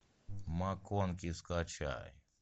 макконки скачай